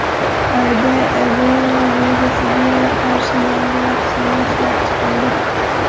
Xitoyda Ebola virusiga qarshi yangi vaksina ishlab chiqildi.